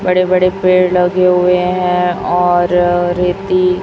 बड़े बड़े पेड़ लगे हुए हैं और रीति--